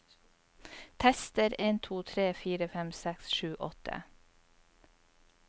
Tester en to tre fire fem seks sju åtte